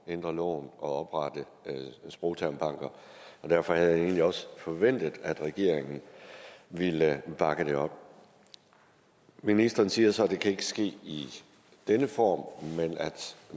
ændre loven og oprette sprogtermbanker og derfor havde jeg egentlig også forventet at regeringen ville bakke det op ministeren siger så at det ikke kan ske i denne form